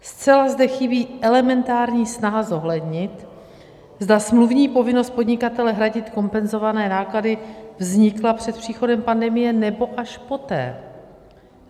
Zcela zde chybí elementární snaha zohlednit, zda smluvní povinnost podnikatele hradit kompenzované náklady vznikla před příchodem pandemie, nebo až poté.